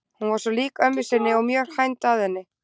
Hún var svo lík ömmu sinni og mjög hænd að henni.